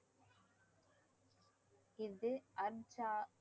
இது